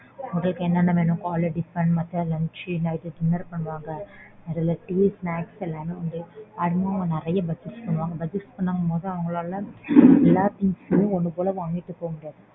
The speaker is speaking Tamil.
அவங்களுக்கு என்னென்ன வேணும் காலை tiffin மதியம் lunch night dinner பண்ணுவாங்க. இதுல tea snacks எல்லாமே உண்டு. அதனால நறைய purchase பண்ணுவாங்க. Purchase பண்ணும்போது அவங்களால எல்லா things யும் ஒண்ணு போல வாங்கிட்டு போமுடியாது.